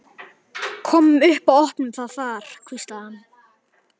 Komum upp og opnum það þar hvíslaði hann.